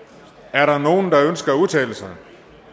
er der nogen der ønsker at udtale sig